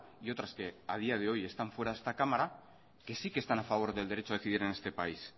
y otras que a día de hoy están fuera de esta cámara que sí que están a favor del derecho a decidir en este país